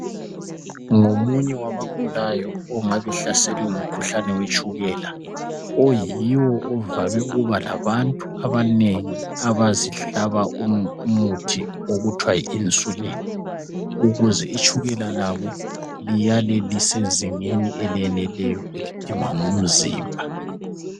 Ngomunye wabagulayo ongabe hlaselwe ngumkhuhlane wetshukela oyiwo ovame ukuba labantu abanengi abazihlaba umuthi okuthiwa yiinsulin ukuze itshukela labo liyale lisezingeni eleneleyo elidingwa ngumzimba.